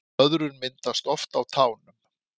Blöðrur myndast oft á tánum